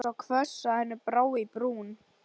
Röddin var svo hvöss að henni brá í brún.